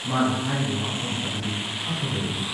ꯃꯥꯅ ꯍꯥꯏꯔꯤꯕ ꯋꯥꯐꯝ ꯑꯗꯨꯗꯤ ꯑꯐꯕꯅꯤ ꯫